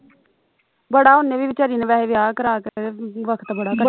ਬੜਾ ਉਹਨੇ ਨੇ ਵਿਚਾਰੀ ਨੇ ਵੈਹੇ ਵਿਆਹ ਕਰਾ ਕੇ ਵਖਤ ਬੜਾ